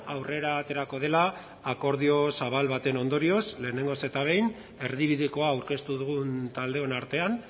aurrera aterako dela akordio zabal baten ondorioz lehenengoz eta behin erdibidekoa aurkeztu dugun taldeon artean